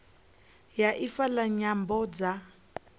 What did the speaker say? ya ifa la nyambo dza